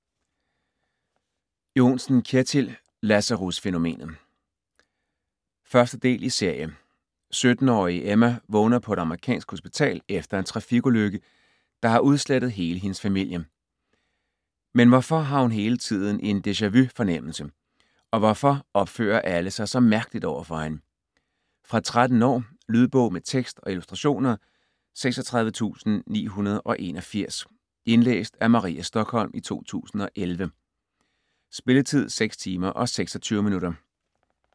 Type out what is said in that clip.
Johnsen, Kjetil: Lazarusfænomenet 1. del i serie. 17-årige Emma vågner på et amerikansk hospital efter en trafikulykke, der har udslettet hele hendes familie. Men hvorfor har hun hele tiden en deja-vu fornemmelse, og hvorfor opfører alle sig så mærkeligt overfor hende? Fra 13 år. Lydbog med tekst og illustrationer 36981 Indlæst af Maria Stokholm, 2011. Spilletid: 6 timer, 26 minutter.